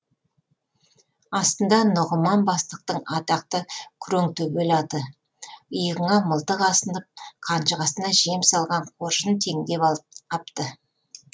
астында нұғыман бастықтың атақты күреңтөбел аты иығыңа мылтық асынып қанжығасына жем салған қоржын теңдеп апты